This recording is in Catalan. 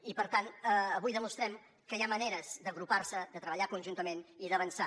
i per tant avui demostrem que hi ha maneres d’agrupar se de treballar conjuntament i d’avançar